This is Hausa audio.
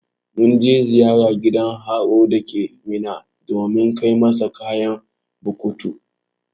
Mun je ziyara gidan horo dake minna domin kai musu kayan bukatu.